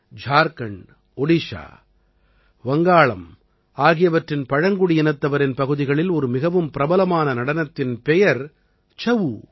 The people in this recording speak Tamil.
ஜார்க்கண்ட் ஒடிஷா வங்காளம் ஆகியவற்றின் பழங்குடியினத்தவரின் பகுதிகளில் ஒரு மிகவும் பிரபலமான நடனத்தின் பெயர் சஉ